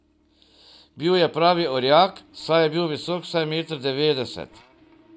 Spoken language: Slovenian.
Bil je pravi orjak, saj je bil visok vsaj meter devetdeset.